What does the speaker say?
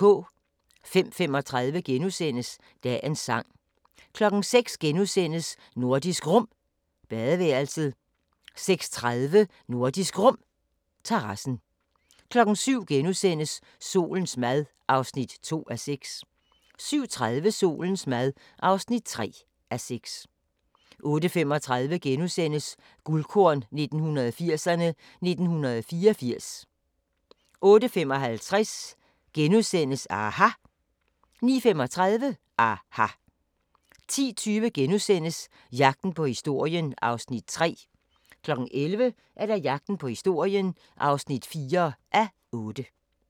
05:35: Dagens sang * 06:00: Nordisk Rum – badeværelset * 06:30: Nordisk Rum – terrassen 07:00: Solens mad (2:6)* 07:30: Solens mad (3:6) 08:35: Guldkorn 1980'erme: 1984 * 08:55: aHA! * 09:35: aHA! 10:20: Jagten på historien (3:8)* 11:00: Jagten på historien (4:8)